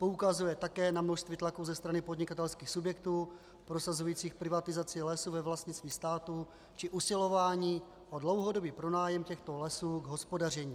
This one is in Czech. Poukazuje také na množství tlaků ze strany podnikatelských subjektů prosazujících privatizaci lesů ve vlastnictví státu či usilování o dlouhodobý pronájem těchto lesů k hospodaření.